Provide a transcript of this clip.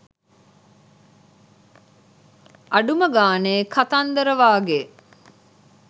අඩුම ගානෙ කතන්දර වගේ